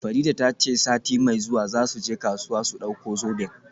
Farida ta ce sati mai zuwa za su je kasuwa su dauko zoben.